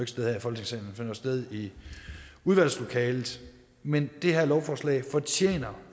sted her i folketingssalen sted i udvalgslokalet men det her lovforslag fortjener